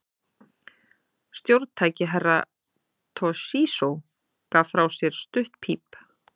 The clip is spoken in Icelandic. Stjórntæki Herra Toshizo gaf frá sér stutt píp.